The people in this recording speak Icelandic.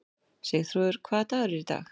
Sigþrúður, hvaða dagur er í dag?